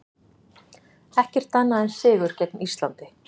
Ekkert annað en sigur gegn Íslandi